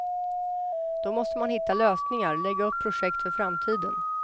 Då måste man hitta lösningar, lägga upp projekt för framtiden.